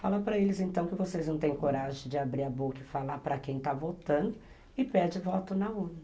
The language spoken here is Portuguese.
Fala para eles, então, que vocês não têm coragem de abrir a boca e falar para quem está votando e pede voto na urna.